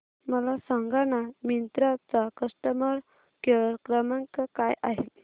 मला सांगाना मिंत्रा चा कस्टमर केअर क्रमांक काय आहे